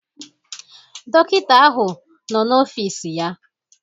Dọkịta ahụ nọ n'ọfịs ya